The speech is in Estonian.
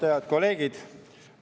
Head kolleegid!